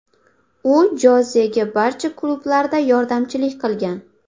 U Jozega barcha klublarda yordamchilik qilgan.